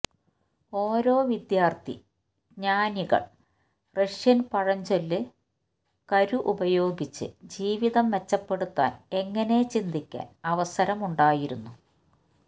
ഓരോ വിദ്യാർത്ഥി ജ്ഞാനികൾ റഷ്യൻ പഴഞ്ചൊല്ലു കരു ഉപയോഗിച്ച് ജീവിതം മെച്ചപ്പെടുത്താൻ എങ്ങനെ ചിന്തിക്കാൻ അവസരം ഉണ്ടായിരുന്നു